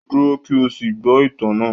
Dúró kí o sì gbọ́ ìtàn náà